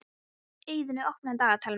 Eiðunn, opnaðu dagatalið mitt.